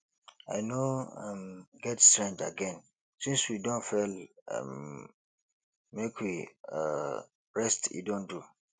i no um get strength again since we don fail um make we um rest e don do